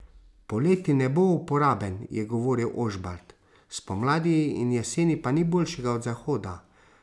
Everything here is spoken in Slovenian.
Poleti ne bo uporaben, je govoril Ožbalt, spomladi in jeseni pa ni boljšega od zahoda.